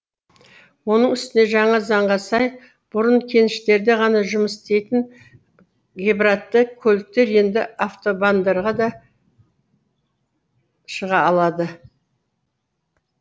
оның үстіне жаңа заңға сай бұрын кеніштерде ғана жұмыс істейтін гибратты көліктер енді автобандарға да шыға алады